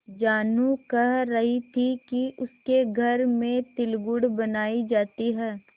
जानू कह रही थी कि उसके घर में तिलगुड़ बनायी जाती है